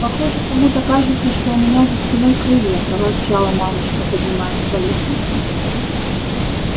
похоже кому-то кажется что у меня за спиной крылья проворчала мамушка поднимаясь по лестнице